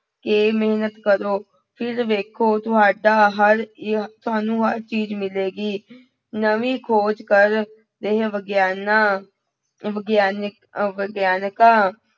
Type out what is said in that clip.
ਕੇ ਮਿਹਨਤ ਕਰੋ, ਫਿਰ ਵੇਖੋ ਤੁਹਾਡਾ ਹਰ ਹੀ ਤੁਹਾਨੂੰ ਹਰ ਚੀਜ਼ ਮਿਲੇਗੀ ਨਵੀਂ ਖੋਜ ਕਰ ਰਹੇ ਵਿਗਿਆਨਾਂ ਵਿਗਿਆਨਕ ਅਹ ਵਿਗਿਆਨਕਾਂ